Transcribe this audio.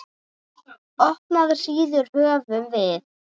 Opnar síður höfum við.